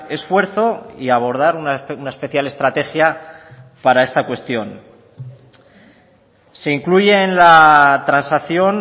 esfuerzo y abordar una especial estrategia para esta cuestión se incluye en la transacción